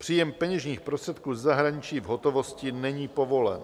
Příjem peněžních prostředků ze zahraničí v hotovosti není povolen.